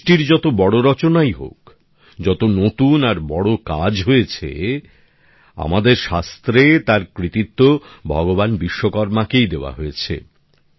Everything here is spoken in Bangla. সৃষ্টির যত বড় রচনাই হোক যত নতুন আর বড় কাজ হয়েছে আমাদের শাস্ত্রে তার কৃতিত্ব ভগবান বিশ্বকর্মাকেই দেওয়া হয়েছে